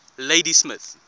ladysmith